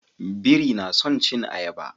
Biri na son cin ayaba